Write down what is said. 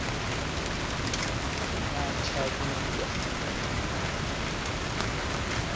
nyatshavhumbwa